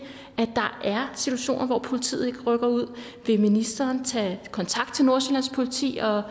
der er situationer hvor politiet ikke rykker ud vil ministeren tage kontakt til nordsjællands politi og